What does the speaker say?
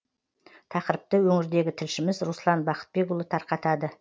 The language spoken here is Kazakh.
тақырыпты өңірдегі тілшіміз руслан бақытбекұлы тарқатады